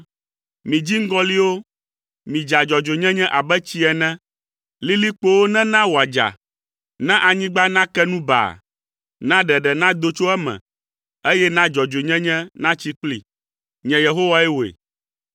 “Mi dziŋgɔlĩwo, midza dzɔdzɔenyenye abe tsi ene. Lilikpowo nena wòadza. Na anyigba nake nu baa. Na ɖeɖe nado tso eme, eye na dzɔdzɔenyenye natsi kplii. Nye Yehowae wɔe.